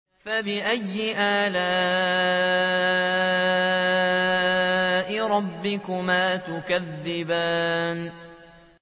فَبِأَيِّ آلَاءِ رَبِّكُمَا تُكَذِّبَانِ